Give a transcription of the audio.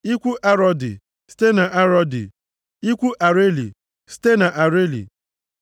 ikwu Arodi, site na Arodi, ikwu Areli, site na Areli,